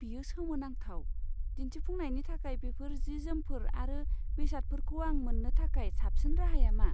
बेयो सोमोनांथाव। दिन्थिफुंनायनि थाखाय बेफोर जि जोमफोर आरो बेसादफोरखौ आं मोन्नो थाखाय साबसिन राहाया मा?